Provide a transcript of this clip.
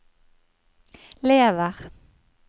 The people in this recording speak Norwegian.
lever